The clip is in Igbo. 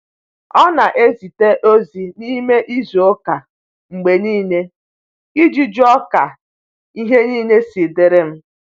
Ọ na ezite ozi n’ime izu ụka mgbe niile iji jụọ ka ihe niile si dịrị m.